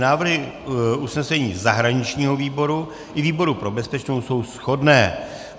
Návrhy usnesení zahraničního výboru i výboru pro bezpečnost jsou shodné.